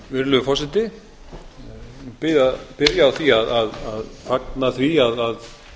virðulegur forseti ég vil byrja á því að fagna því að